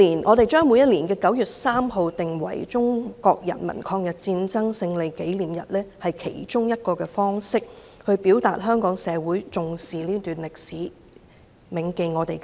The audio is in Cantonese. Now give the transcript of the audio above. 我們把每年9月3日訂為中國人民抗日戰爭勝利紀念日是其中一種方式，表達香港社會重視這段歷史，銘記先烈。